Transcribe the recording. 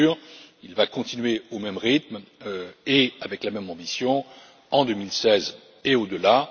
Bien sûr, il va continuer au même rythme et avec la même ambition en 2016 et au